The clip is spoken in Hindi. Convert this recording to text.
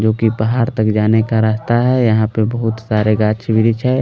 जो कि पहाड़ तक जाने का रास्ता है यहाँ पर बहुत सारे गाछ वृक्ष हैं--